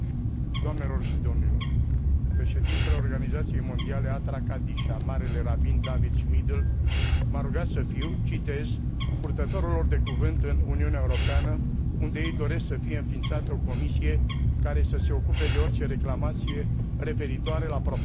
Președintele Organizației Mondiale Athra Kadisha, Marele Rabin David Schmidl, m a rugat să fiu, citez, purtătorul lor de cuvânt în Uniunea Europeană, unde ei doresc să fie înființată o comisie care să se ocupe de orice reclamație referitoare la profanarea terenurilor cimitirelor,